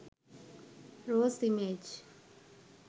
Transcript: rose image